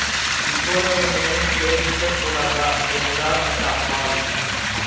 இவ்வளவு நேரம் கேட்டிருக்கக்கூடாதா என்றார் அந்த அம்மாள்